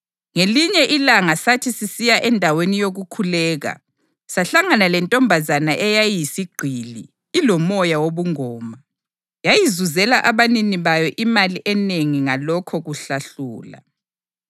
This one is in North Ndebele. Ngelinye ilanga sathi sisiya endaweni yokukhuleka sahlangana lentombazana eyayiyisigqili, ilomoya wobungoma. Yayizuzela abanini bayo imali enengi ngalokho kuhlahlula.